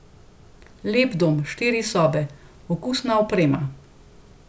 Lep dom, štiri sobe, okusna oprema.